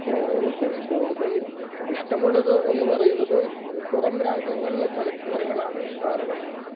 ആ എനിക്കതിൽ കൂടുതൽ ഇഷ്ടമുള്ളത് എന്ന് പറയുന്നത് പുറം രാജ്യങ്ങളിലെ ചലച്ചിത്രങ്ങളാണ് കാരണം